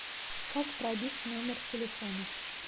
как пробить номер телефона